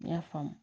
N y'a faamu